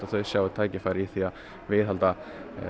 þau sjái tækifæri í að viðhalda